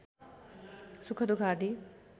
सुख दुख आदि